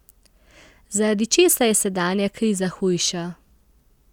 Zaradi česa je sedanja kriza hujša?